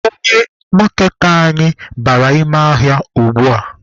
Onye maaketa anyị bara ime ahịa ugbua.